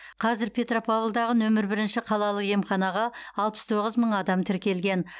қазір петропавлдағы нөмір бірінші қалалық емханаға алпыс тоғыз мың адам тіркелген